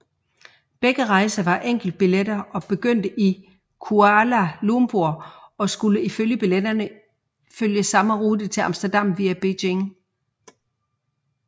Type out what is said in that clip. Begge rejser var enkeltbilletter og begyndte i Kuala Lumpur og skulle ifølge billetterne følge samme rute til Amsterdam via Beijing